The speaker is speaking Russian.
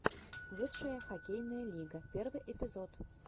высшая хоккейная лига первый эпизод